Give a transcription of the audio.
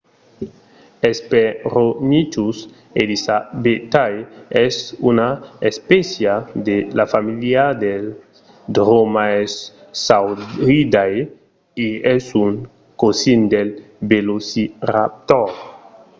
hesperonychus elizabethae es una espécia de la familha dels dromaeosauridae e es un cosin del velociraptor